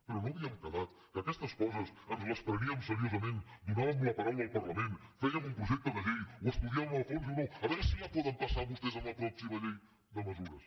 però no havíem quedat que aquestes coses ens les preníem seriosament donàvem la paraula al parlament fèiem un projecte de llei ho estudiàvem a fons diu no a veure si la poden passar vostès en la pròxima llei de mesures